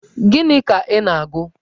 Gini ka ị na-agụ?